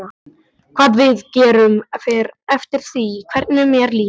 Hvað við gerum fer eftir því hvernig mér líður.